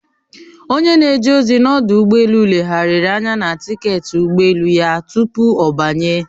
Onye na-eje ozi n'ọdụ ụgbọ elu legharịrị anya na tiketi ụgbọ elu ya tupu ọ banye